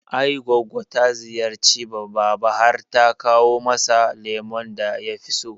I goggo ta ziyarci baba har ta kawo masa lemon da yafi so